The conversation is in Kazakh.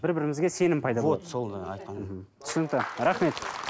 бір бірімізге сенім пайда болады вот сол айтқан мхм түсінікті рахмет